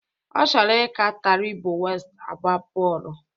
Ọ chọrọ ị ka Taribo West agba bọọlụ